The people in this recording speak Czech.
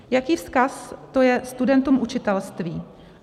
Jaký vzkaz to je studentům učitelství?